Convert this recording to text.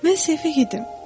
Mən səhv edirdim.